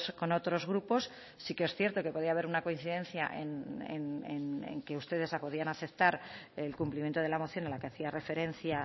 con otros grupos sí que es cierto que podía haber una coincidencia en que ustedes podían aceptar el cumplimiento de la moción a la que hacía referencia